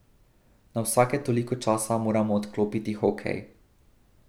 Na vsake toliko časa moramo odklopiti hokej.